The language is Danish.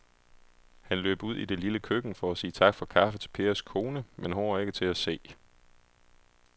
Han løb ud i det lille køkken for at sige tak for kaffe til Pers kone, men hun var ikke til at se.